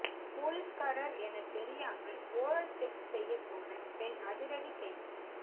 போலீஸ்காரர் என தெரியாமல் ஓரல் செக்ஸ் செய்யப்போன பெண் அதிரடி கைது